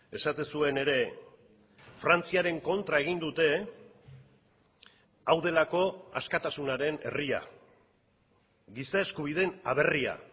esaten zuen ere frantziaren kontra egin dute hau delako askatasunaren herria giza eskubideen aberria